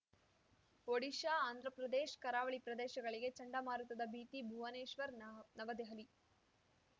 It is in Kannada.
ಒಡಿಶಾ ಆಂಧ್ರಪ್ರದೇಶ್ ಕರಾವಳಿ ಪ್ರದೇಶಗಳಿಗೆ ಚಂಡಮಾರುತದ ಭೀತಿ ಭುವನೇಶ್ವರ್ ನವದೆಹಲಿ